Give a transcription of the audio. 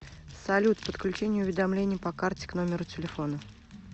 салют подключение уведомлений по карте к номеру телефона